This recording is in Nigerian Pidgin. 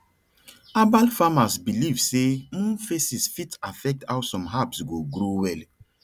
herbal farmers believe say moon phases fit affect how some herbs go grow well